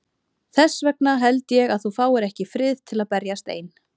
Þess vegna held ég að þú fáir ekki frið til að berjast ein.